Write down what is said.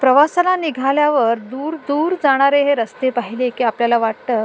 प्रवासाला निघल्यावर दूर दूर जाणारे हे रास्ते पहिले की आपल्याला वाटत --